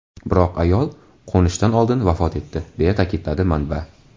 Biroq ayol qo‘nishdan oldin vafot etdi”, deya ta’kidladi manba.